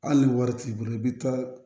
Hali ni wari t'i bolo i bɛ taa